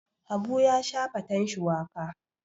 Habu ya sha faten shuwaka.